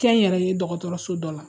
Kɛ n yɛrɛ ye dɔgɔtɔrɔso dɔ la